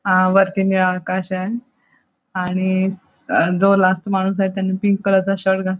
अ वरती निळा आकाश आहे आणि जो लास्ट माणूस आहे त्याने पिंक कलरचा शर्ट घात --